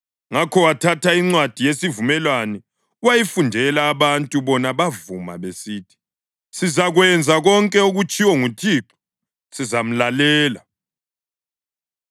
Ngakho wathatha iNcwadi yeSivumelwano wayifundela abantu. Bona bavuma besithi, “Sizakwenza konke okutshiwo nguThixo; sizamlalela.”